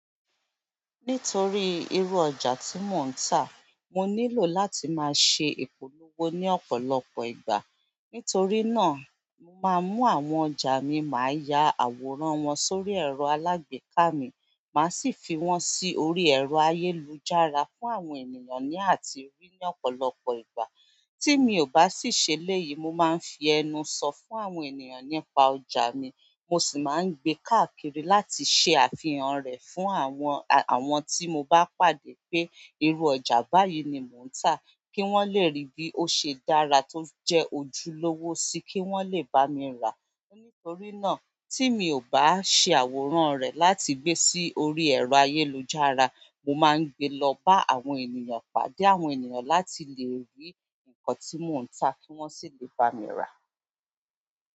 Nítorí irú ọjà tí mò ń tà, mo nílò láti máa ṣe ìpolówó ní ọ̀pọ̀lọpọ̀ ìgbà. Nítorí náà, mà á mú àwọn ọjà mi, mà á ya àwòrán wọn sórí ẹ̀rọ alágbèéká mi, mà á sì fi wọ́n sí orí ẹ̀rọ ayélujára fún àwọn ènìyàn láti rí ní ọ̀pọ̀lọpọ̀ ìgbà. Tí mi ò bá sì ṣe lẹ́ yìí, mo máa ń fi ẹnu sọ fún àwọn ènìyàn nípa ọjà mi. Mo sì máa ń gbé káàkiri láti ṣe àfihàn rẹ̀ fún àwọn, àwọn tí mo bá pàdé pé irú ọjà báyìí ni mò ń tà, kí wọ́n lè rí bí ó ṣe dára tó jẹ́ ojúlówó sí kí wọ́n lè bá mi rà á. Nitona ti mi o ba se àwòrán re láti gbe lo si orí ayélujára mo ma n gbe lo ba àwọn ènìyàn pàdé àwọn ènìyàn la ti le ri nkan ti mo n ta ki won le bami ra.